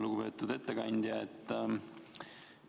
Lugupeetud ettekandja!